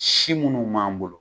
Si minnu b'an bolo